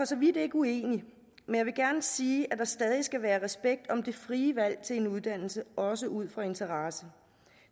så vidt ikke uenig men jeg vil gerne sige at der stadig skal være respekt om det frie valg til en uddannelse også ud fra interesse